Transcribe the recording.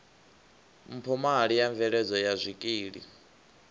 mphomali ya mveledzo ya zwikili